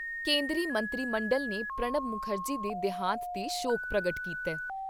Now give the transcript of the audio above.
ਕੇਂਦਰੀ ਮੰਤਰੀ ਮੰਡਲ ਨੇ ਪ੍ਰਣਬ ਮੁਖਰਜੀ ਦੇ ਦੇਹਾਂਤ 'ਤੇ ਸ਼ੋਕ ਪ੍ਰਗਟ ਕੀਤਾ ।